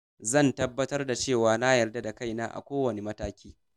Zan tabbatar da cewa na yarda da kaina a kowane mataki.